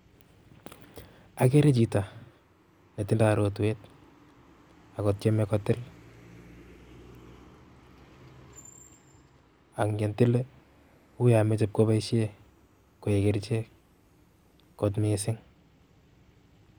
Okere chito netindoi rotwet ak ko tieme kotil ak yetile kou yomoche iib kobaishen koik kerichek kot mising.